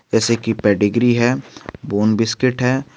जैसे की पेडिग्री है बोन बिस्किट है।